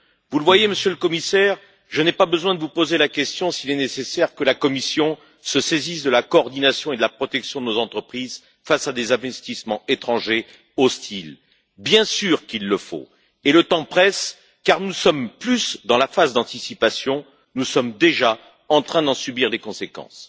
Vous le voyez, Monsieur le Commissaire, je n'ai pas besoin de vous poser la question de savoir s'il est nécessaire que la Commission se saisisse de la coordination et de la protection de nos entreprises face à des investissements étrangers hostiles. Bien sûr qu'il le faut, et le temps presse car nous ne sommes plus dans la phase d'anticipation, nous sommes déjà en train d'en subir les conséquences.